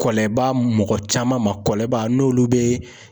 Kɔlɛbaa mɔgɔ caman ma, kɔlɛba n'olu be